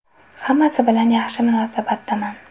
Hammasi bilan yaxshi munosabatdaman.